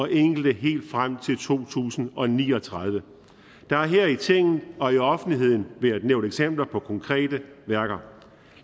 enkelte helt frem til to tusind og ni og tredive der har her i tinget og i offentligheden været nævnt eksempler på konkrete værker